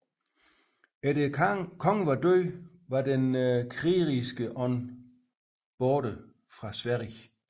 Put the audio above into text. Efter kongens død var den krigerske ånd borte fra Sverige